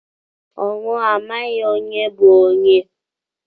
Ọnwụ amaghị onye bu onye